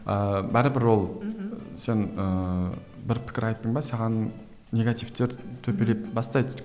ыыы бәрібір ол мхм сен ііі бір пікір айттың ба саған негативтер төпелеп бастайды